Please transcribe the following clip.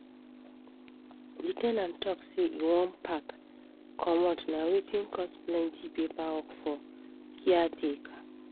the ten ant talk say e wan pack comot na wetin cos plenty paper work for caretaker.